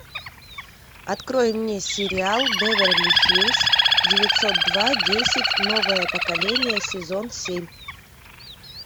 открой мне сериал беверли хиллз девятьсот два десять новое поколение сезон семь